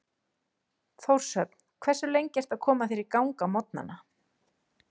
Þórshöfn Hversu lengi ertu að koma þér í gang á morgnanna?